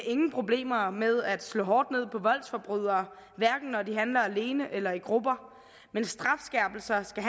ingen problemer med at slå hårdt ned på voldsforbrydere hverken når de handler alene eller i grupper men strafskærpelser skal